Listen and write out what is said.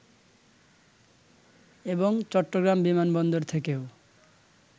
এবং চট্টগ্রাম বিমানবন্দর থেকেও